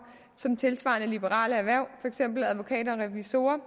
som tilsvarende liberale erhverv for eksempel advokater og revisorer